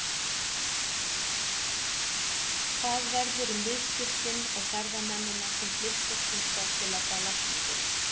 Hvað verður um viðskiptin og ferðamennina sem flykkjast hingað til að fá lækningu?